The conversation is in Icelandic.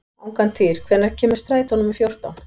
Angantýr, hvenær kemur strætó númer fjórtán?